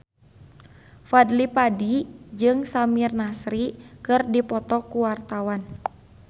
Fadly Padi jeung Samir Nasri keur dipoto ku wartawan